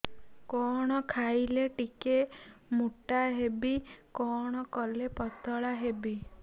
କଣ ଖାଇଲେ ଟିକେ ମୁଟା ହେବି କଣ କଲେ ପତଳା ହେବି